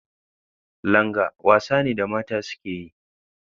Langa wasa ne da mata suke yi.